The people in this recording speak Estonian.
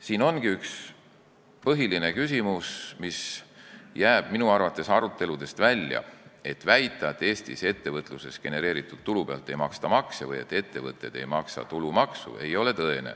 Siin ongi üks põhiline küsimus, mis jääb minu arvates aruteludest välja: väide, et Eestis ettevõtluses genereeritud tulu pealt makse ei maksta või et ettevõtted ei maksa tulumaksu, ei ole tõene.